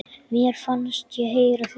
Mér fannst ég heyra hljóð.